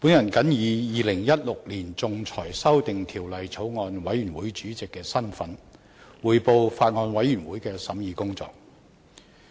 代理主席，本人謹以《2016年仲裁條例草案》委員會主席的身份，匯報法案委員會的審議工作。